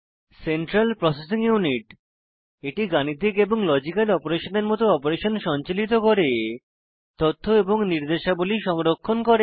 central processing unit এটি গাণিতিক এবং লজিক্যাল অপারেশনের মত অপারেশন সঞ্চালিত করে তথ্য এবং নির্দেশাবলী সংরক্ষণ করে